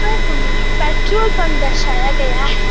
पर हमें petrol pump दर्शये गए है।